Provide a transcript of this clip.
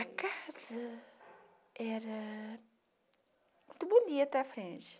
A casa era muito bonita à frente.